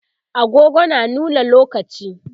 agogo na nuna lokaci